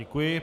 Děkuji.